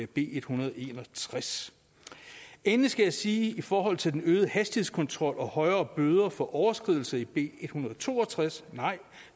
b en hundrede og en og tres endelig skal jeg sige i forhold til den øgede hastighedskontrol og højere bøder for overskridelse i b 162 nej